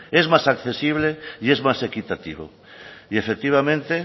es más accesible y es más equitativo y efectivamente